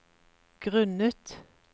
grunnet